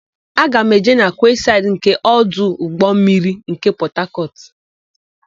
Aga m eje na kwesaịdị nke ọdụ ụgbọmmiri nke Pọtakọtụ.